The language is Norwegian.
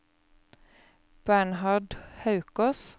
Bernhard Haukås